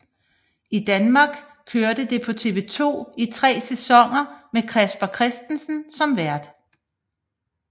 I Danmark kørte det på TV 2 i tre sæsoner med Casper Christensen som vært